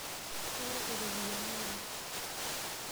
Kenyorr iropiyani Oleng.